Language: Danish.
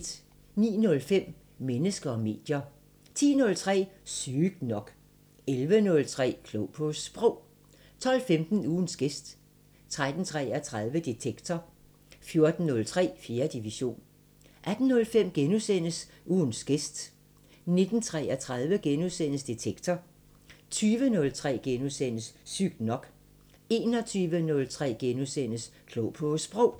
09:05: Mennesker og medier 10:03: Sygt nok 11:03: Klog på Sprog 12:15: Ugens gæst 13:33: Detektor 14:03: 4. division 18:05: Ugens gæst * 19:33: Detektor * 20:03: Sygt nok * 21:03: Klog på Sprog *